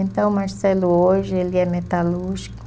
Então, o Marcelo hoje, ele é metalúrgico,